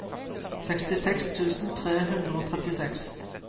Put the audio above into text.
sekstiseks tusen tre hundre og trettiseks